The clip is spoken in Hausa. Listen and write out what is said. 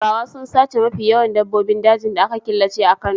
Turawa sun sace mafi yawan dabbobin dajin da aka killace a Kano.